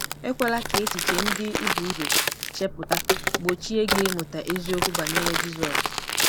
Ekwela ka echiche ndị i bu ụzọ chepụta gbochie gị ịmụta eziokwu banyere Jizọs